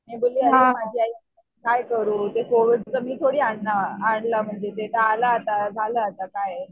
मी बोलली माझी आई काय करू ते कोविडचं मी थोडी आणलं ते तर आलं आता झालं आता काय.